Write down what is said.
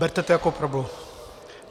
Berte to jako prubu.